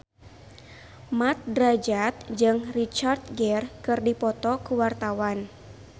Mat Drajat jeung Richard Gere keur dipoto ku wartawan